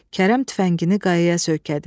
Kərəm tüfəngini qayaya söykədi.